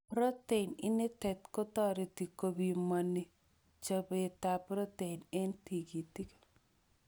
Protein initet kotoreti kobimoni chobetab protein en tekutik.